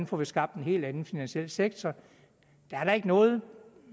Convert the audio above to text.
får skabt en helt anden finansiel sektor der er da ikke nogen